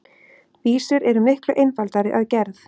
Vísur eru miklu einfaldari að gerð.